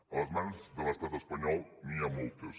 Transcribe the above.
a les mans de l’estat espanyol n’hi ha moltes